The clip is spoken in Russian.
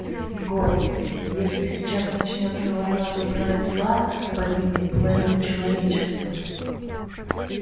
егор если сейчас начнётся война добра и зла погибнет половина человечества